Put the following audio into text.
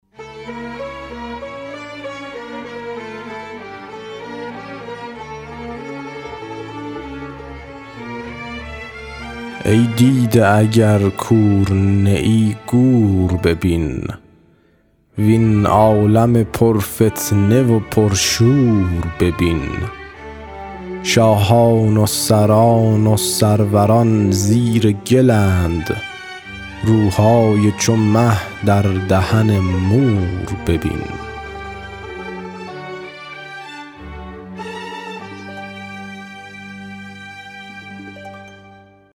ای دیده اگر کور نیی گور ببین وین عالم پر فتنه و پر شور ببین شاهان و سران و سروران زیر گلند روهای چو مه در دهن مور ببین